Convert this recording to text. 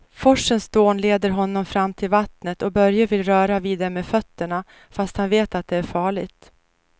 Forsens dån leder honom fram till vattnet och Börje vill röra vid det med fötterna, fast han vet att det är farligt.